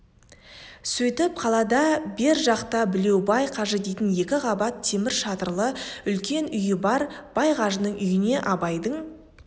сөйтіп қалада бер жақта білеубай қажы дейтін екі қабат темір шатырлы үлкен үйі бар бай қажының үйіне абайдың